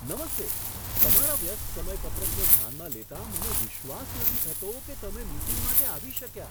નમસ્તે! તમારા વ્યસ્ત સમયપત્રકને ધ્યાનમાં લેતાં મને વિશ્વાસ નથી થતો કે તમે મીટિંગ માટે આવી શક્યા.